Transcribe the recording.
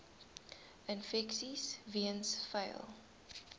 infeksies weens vuil